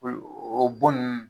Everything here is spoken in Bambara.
Olu o bon nunnu